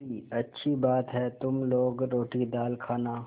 मुंशीअच्छी बात है तुम लोग रोटीदाल खाना